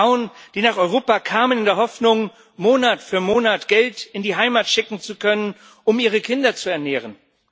Frauen, die nach Europa kamen, in der Hoffnung, Monat für Monat Geld in die Heimat schicken zu können, um ihre Kinder zu ernähren.